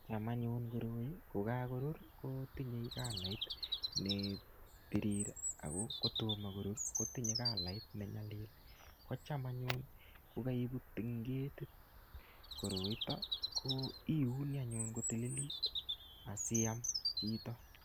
Cham anyun koroi kokakorur kotinyei kalait nepirir ago kotoma korur kotinye kalait ne nyalil. Kocham anyun ko kaiput eng ketit koroito ko iyuni anyun kotililit asiyam chito.